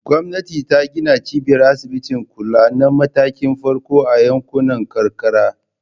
Gwamnati ta gina cibiyar asibitin kula na matakin farko a yankunan karkara.